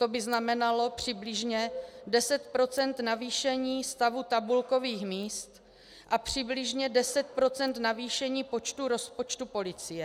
To by znamenalo přibližně 10 % navýšení stavu tabulkových míst a přibližně 10 % navýšení počtu rozpočtu policie.